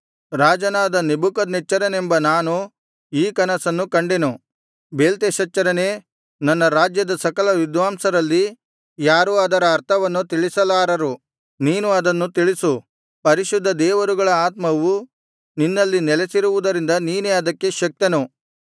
ರಾಜನಾದ ನೆಬೂಕದ್ನೆಚ್ಚರನೆಂಬ ನಾನು ಈ ಕನಸನ್ನು ಕಂಡೆನು ಬೇಲ್ತೆಶಚ್ಚರನೇ ನನ್ನ ರಾಜ್ಯದ ಸಕಲ ವಿದ್ವಾಂಸರಲ್ಲಿ ಯಾರೂ ಅದರ ಅರ್ಥವನ್ನು ತಿಳಿಸಲಾರರು ನೀನು ಅದನ್ನು ತಿಳಿಸು ಪರಿಶುದ್ಧ ದೇವರುಗಳ ಆತ್ಮವು ನಿನ್ನಲ್ಲಿ ನೆಲೆಸಿರುವುದರಿಂದ ನೀನೇ ಅದಕ್ಕೆ ಶಕ್ತನು